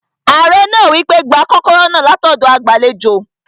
Ààrẹ náà wí pé, "gba kọ́kọ́rọ́ náà látọ̀dọ̀ agbàlejò